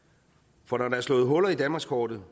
for når der er slået huller i danmarkskortet